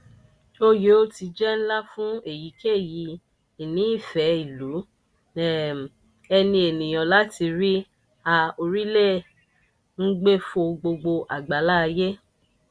o yoo ti jẹ nla fun eyikeyi ìnífẹ̀ẹ́-ìlú um ẹni eniyan lati ri a orilẹ-ngbe fò gbogbo agbala aye.